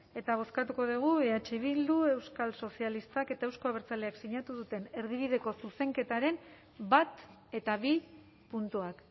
eta bozkatuko dugu eh bildu euskal sozialistak eta euzko abertzaleak sinatu duten erdibideko zuzenketaren bat eta bi puntuak